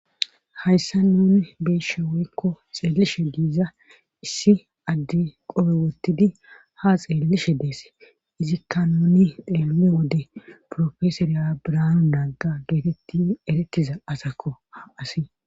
hayssa nuni beishe weykko xeelishe diiza issi adde qobe wottidi ha xeellishe dees izikka nuni deele wode profesoriyabraanu naagga geetetti erettiza asakko ha asi